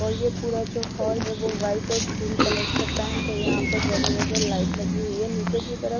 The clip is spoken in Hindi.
और यह पूरा जो हॉल है वो व्हाइट और क्रीम कलर से पेंट है यहां पर जगह जगह लाइट लगी हुई है नीचे की तरफ--